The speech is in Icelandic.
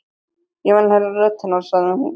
Ég vil heyra rödd hennar, sagði hún.